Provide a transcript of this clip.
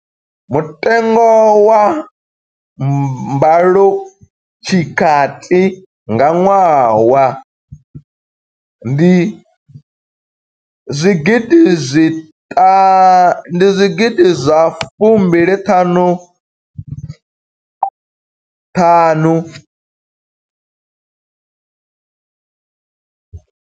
Mutengo wa mbalotshikati nga ṅwaha ndi zwigidi zwa fumbili ṱhanu.